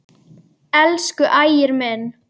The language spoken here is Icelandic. Elsku Ægir minn.